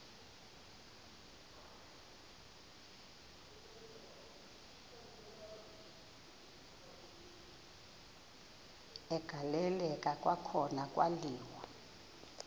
agaleleka kwakhona kwaliwa